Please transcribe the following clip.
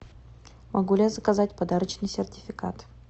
могу ли я заказать подарочный сертификат